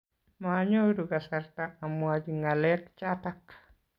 Maanyoru kasarta amwochi ng'alek chatak